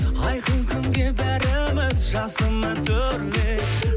айқын күнге бәріміз жасыма төрлет